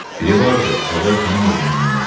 Biri vardı, əvvəl tanımırdım mən onu.